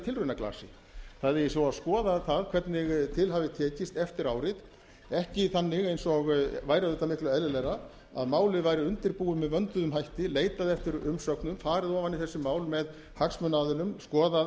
tilraunaglasi það eigi svo að skoða það hvernig til hafi tekist eftir árið ekki þannig eins og væri auðvitað miklu eðlilegra að málið væri undirbúið með vönduðum hætti leitað eftir umsögnum farið ofan í þessi mál með hagsmunaaðilum reynt að